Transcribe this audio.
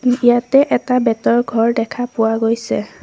ইয়াতে এটা বেতৰ ঘৰ দেখা পোৱা গৈছে।